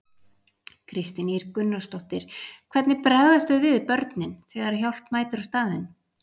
Kristín Ýr Gunnarsdóttir: Hvernig bregðast þau við, börnin, þegar að hjálp mætir á staðinn?